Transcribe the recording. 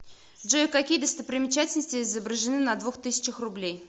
джой какие достопримечательности изображены на двух тысячах рублей